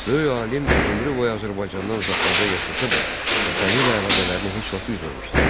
Böyük alim ömrü boyu Azərbaycandan uzaqlarda yaşasa da, vətəni ilə əlaqələrini heç vaxt üzməmişdi.